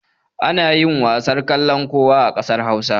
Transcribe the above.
Ana yin wasan kallon kowa a ƙasar Hausa.